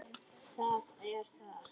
Það er það.